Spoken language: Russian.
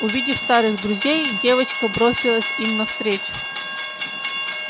увидев старых друзей девочка бросилась им навстречу